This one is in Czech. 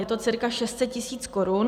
Je to cca 600 tisíc korun.